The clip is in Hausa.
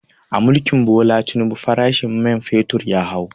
A mulkin Bola Tinubu farashin men fetur ya hau